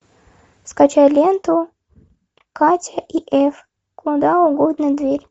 скачай ленту катя и эф куда угодно дверь